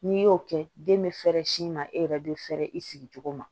N'i y'o kɛ den bɛ fɛɛrɛ sin ma e yɛrɛ bɛ fɛrɛ i sigi cogo ma